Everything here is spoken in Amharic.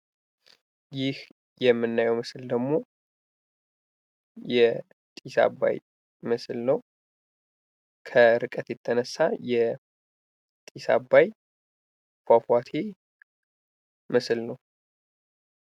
ይህ የምናየው ምስል ደግሞ የጢስ አባይ ምስል ነው። ከርቀት የተነሳ የጢስ አባይ ፏፏቴ ምስል ነው።